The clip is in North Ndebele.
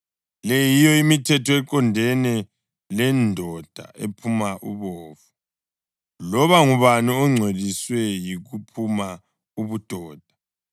Le yiyo imithetho eqondene lendoda ephuma ubovu, loba ngubani ongcoliswe yikuphuma ubudoda,